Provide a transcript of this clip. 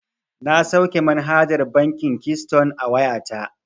Na sauke manhajar bankin kiston a wayata.